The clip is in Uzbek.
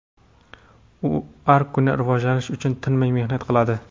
U har kuni rivojlanish uchun tinmay mehnat qiladi.